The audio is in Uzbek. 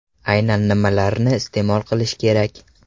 Aynan nimalarni iste’mol qilish kerak?